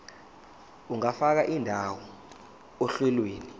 ungafaka indawo ohlelweni